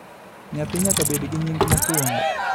Nyathi nyaka bed gi nying Mokwuongo